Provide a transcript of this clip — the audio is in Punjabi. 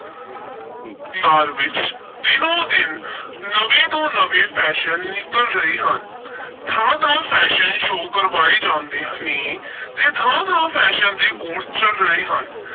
ਵਿੱਚ ਦਿਨੋ-ਦਿਨ ਨਵੇਂ ਤੋਂ ਨਵੇਂ fashion ਨਿਕਲ ਰਹੇ ਹਨ ਥਾਂ-ਥਾਂ fashion show ਕਰਵਾਏ ਜਾਂਦੇ ਨੇ ਤੇ ਥਾਂ ਥਾਂ fashion ਦੇ course ਚੱਲ ਰਹੇ ਹਨ।